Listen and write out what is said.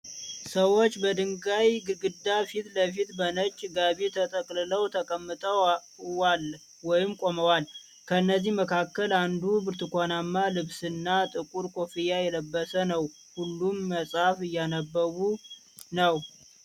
ሰዎች በድንጋይ ግድግዳ ፊት ለፊት በነጭ ጋቢ ተጠቅልለው ተቀምጠዋል ወይም ቆመዋል። ከእነዚህም መካከል አንዱ ብርቱካናማ ልብስና ጥቁር ኮፍያ የለበሰ ነው። ሁሉም መጽሐፍ እያነበቡ ነው።